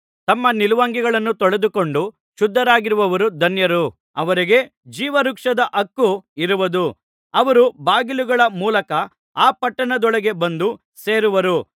ತಮ್ಮ ನಿಲುವಂಗಿಗಳನ್ನು ತೊಳೆದುಕೊಂಡು ಶುದ್ಧರಾಗಿರುವವರು ಧನ್ಯರು ಅವರಿಗೆ ಜೀವವೃಕ್ಷದ ಹಕ್ಕು ಇರುವುದು ಅವರು ಬಾಗಿಲುಗಳ ಮೂಲಕ ಆ ಪಟ್ಟಣದೊಳಗೆ ಬಂದು ಸೇರುವರು